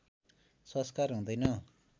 संस्कार हुँदैन